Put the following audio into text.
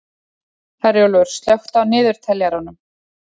Herjólfur, slökktu á niðurteljaranum.